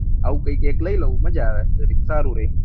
આવું કયીસ એક લઇ લાવ મજા આવે જરીક સારું રહે